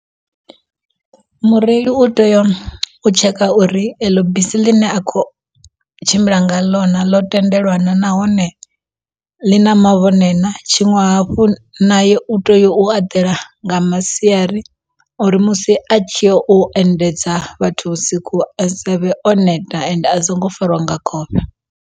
Mureili u tea u tsheka uri eḽo bisi ḽi ne a khou tshimbila nga ḽo na ḽo tendelana nahone ḽi na mavhone na, tshiṅwe hafhu naye u tea u eḓela nga masiari uri musi a tshi yo endedza vhathu vhusiku a savhe o neta ende a songo farwa nga khofhe.